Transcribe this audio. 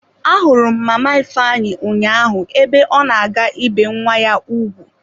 Ahụrụ m mama ifeanyi ụnyaahụ ebe ọ na-aga ibe nwa ya ugwu.